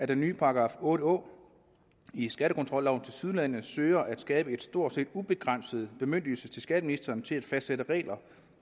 den nye § otte å i skattekontrolloven tilsyneladende søger at skabe en stort set ubegrænset bemyndigelse til skatteministeren til at fastsætte regler